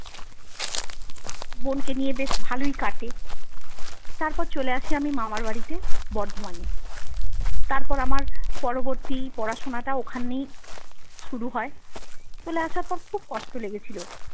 বোনকে নিয়ে বেশ ভালোই কাটে তারপর চলে আসি আমি মামার বাড়িতে বর্ধমানে। তারপর আমার পরবর্তী পড়াশোনাটা ওখানেই শুরু হয় চলে আসার পর খুব কষ্ট লেগেছিল।